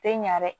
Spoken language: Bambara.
Tɛ ɲɛ dɛ